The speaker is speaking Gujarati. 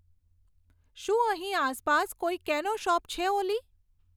શું અહીં આસપાસ કોઈ કેનો શોપ છે ઓલી